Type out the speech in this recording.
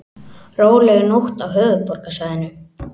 Róleg nótt á höfuðborgarsvæðinu